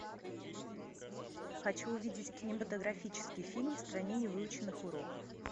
хочу увидеть кинематографический фильм в стране невыученных уроков